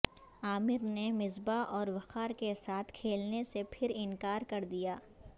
عامر نے مصبا ح اور وقار کے ساتھ کھیلنےسے پھر انکار کردیا